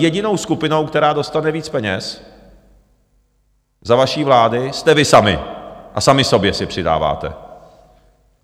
Jedinou skupinou, která dostane víc peněz za vaší vlády, jste vy sami a sami sobě si přidáváte.